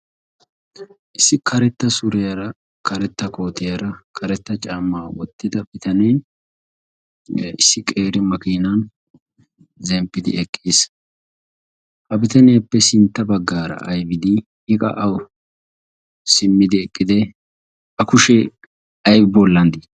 issi karetta suriyaara karetta kootiyaara karetta camaa wottida bitanen issi qeeri makiinan zemppidi eqqiis ha bitaniyaappe sintta baggaara aibidi hiqa awu simmidi eqqide a kushee ay boollanddii